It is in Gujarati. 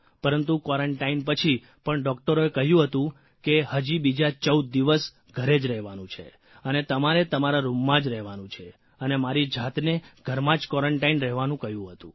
પરંતુ ક્વોરન્ટાઇન પછી પણ ડૉકટરોએ કહ્યું હતું કે હજી બીજા ૧૪ દિવસ ઘરે જ રહેવાનું છે અને તમારે તમારા રૂમમાં જ રહેવાનું છે અને મારી જાતને ઘરમાં જ ક્વોરન્ટાઇન રહેવાનું કહ્યું હતું